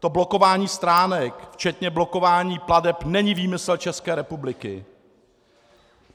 To blokování stránek včetně blokování plateb není výmysl České republiky.